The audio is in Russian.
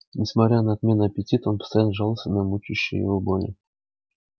несмотря на отменный аппетит она постоянно жаловалась на мучающие её боли